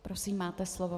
Prosím, máte slovo.